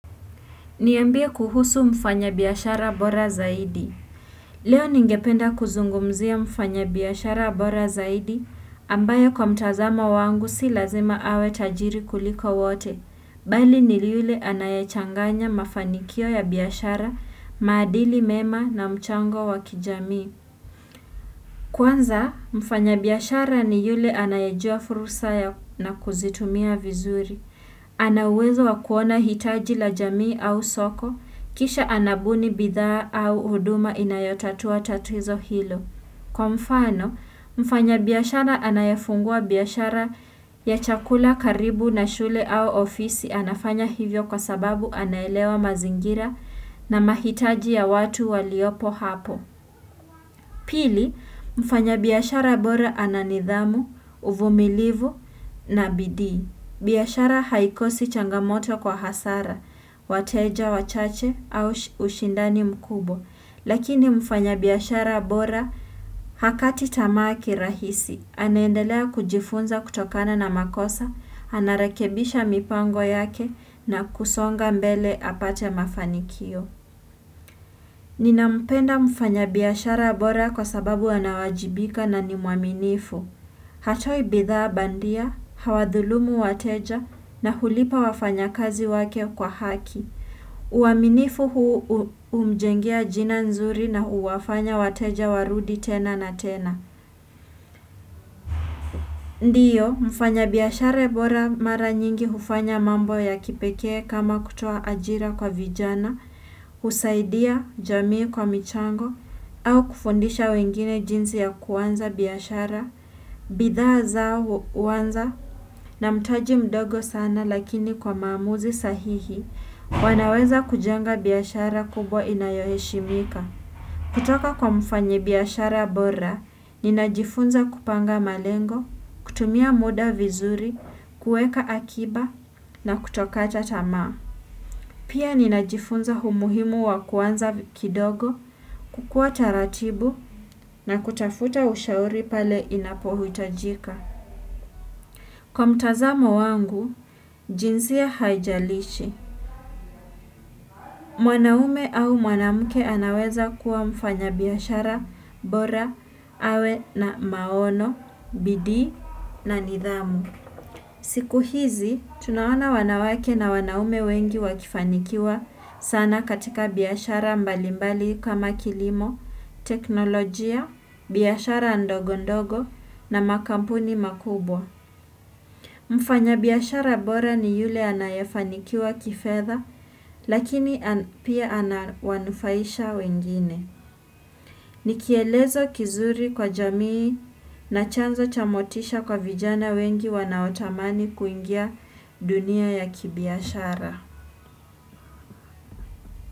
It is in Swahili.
Niambie kuhusu mfanya biashara bora zaidi. Leo ningependa kuzungumzia mfanya biashara bora zaidi, ambaye kwa mtazamo wangu si lazima awe tajiri kuliko wote. Bali ni yule anayechanganya mafanikio ya biashara, maadili mema, na mchango wakijamii. Kwanza, mfanyabiashara ni yule anayajua fursa na kuzitumia vizuri. Anauwezo wa kuona hitaji la jamii au soko, kisha anabuni bidhaa au huduma inayotatua tatizo hilo. Kwa mfano, mfanyabiashara anayefungua biashara ya chakula karibu na shule au ofisi anafanya hivyo kwa sababu anaelewa mazingira na mahitaji ya watu waliopo hapo. Pili, mfanya biashara bora ananidhamu, uvumilivu na bidii. Biashara haikosi changamoto kwa hasara, wateja wachache au ushindani mkubwa. Lakini mfanyabiashara bora hakati tamaa kirahisi. Anaendelea kujifunza kutokana na makosa, anarekebisha mipango yake na kusonga mbele apate mafanikio. Nina mpenda mfanya biashara bora kwa sababu anawajibika na ni mwaminifu. Hatoi bidhaa bandia, hawadhulumu wateja na hulipa wafanya kazi wake kwa haki. Uwaminifu huu humjengea jina nzuri na huwafanya wateja warudi tena na tena. Ndiyo, mfanyabiashara bora mara nyingi hufanya mambo ya kipekee kama kutoa ajira kwa vijana, husaidia jamii kwa michango, au kufundisha wengine jinsi ya kuanza biashara, bidhaa zao huanza, na mtaji mdogo sana lakini kwa maamuzi sahihi, wanaweza kujenga biashara kubwa inayoheshimika. Kutoka kwa mfanyabiashara bora ninajifunza kupanga malengo, kutumia muda vizuri, kuweka akiba, na kutokata tamaa. Pia ninajifunza umuhimu wa kuanza kidogo, kukuwa taratibu, na kutafuta ushauri pale inapohitajika. Kwa mtazamo wangu jinsia haijalishi. Mwanaume au mwanamke anaweza kuwa mfanyabiashara bora awe na maono, bidii, na nidhamu siku hizi tunaona wanawake na wanaume wengi wakifanikiwa sana katika biashara mbalimbali kama, kilimo teknolojia, biashara ndogondogo na makampuni makubwa. Mfanyabiashara bora ni yule anayefanikiwa kifedha, lakini pia anawanufaisha wengine. Nikielezo kizuri kwa jamii na chanzo cha motisha kwa vijana wengi wanaotamani kuingia dunia ya kibiashara.